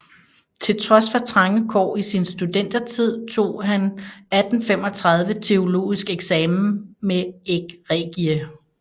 Til trods for trange kår i sin studentertid tog han 1835 teologisk eksamen med egregie